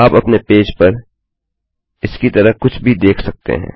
आप अपने पेज पर इस की तरह कुछ भी देख सकते हैं